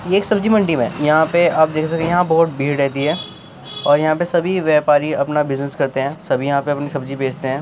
ये एक सब्जी मंडी है यहा पे आप देख सकते हैं यहाँ पे बोहोत भीड़ रहती है और यहाँ पे सभी व्यापारी अपना बिज़नस करते हैं। सब यहाँ पर अपनी सब्जी बेचते हैं।